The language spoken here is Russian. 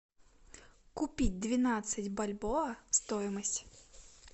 купить двенадцать бальбоа стоимость